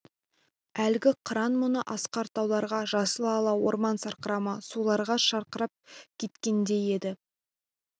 әлгі қыран мұны асқар тауларға жасыл-ала орман сарқырама суларға шақырып кеткендей еді